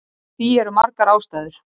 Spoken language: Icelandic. Fyrir því eru margar ástæður.